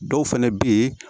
Dɔw fɛnɛ bɛ ye